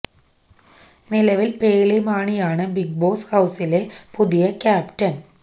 നിലവില് പേളി മാണിയാണ് Big Boss ഹൌസിലെ പുതിയ ക്യാപ്റ്റന്